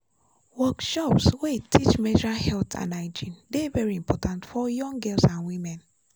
workshops wey teach menstrual health and hygiene dey very important for young girls and women.